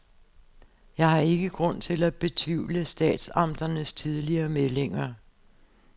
Jeg har ikke grund til at betvivle statsamternes tidligere meldinger.